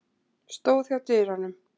Stóð hjá dyrunum.